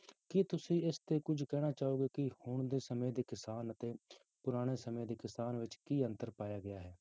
ਕੀ ਤੁਸੀਂ ਇਸ ਤੇ ਕੁਛ ਕਹਿਣਾ ਚਾਹੋਗੇ ਕਿ ਹੁਣ ਦੇ ਸਮੇਂ ਦੇ ਕਿਸਾਨ ਅਤੇ ਪੁਰਾਣੇ ਸਮੇਂ ਦੇ ਕਿਸਾਨ ਵਿੱਚ ਕੀ ਅੰਤਰ ਪਾਇਆ ਗਿਆ ਹੈ?